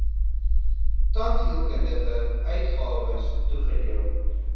tandheelkundige uitgawes toegedeel